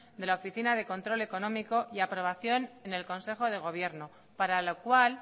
de la oficina de control económico y aprobación en el consejo de gobierno para lo cual